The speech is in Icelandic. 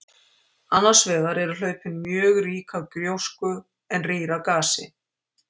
Annars vegar eru hlaupin mjög rík af gjósku en rýr af gasi.